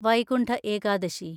Vaikuntha Ekadashi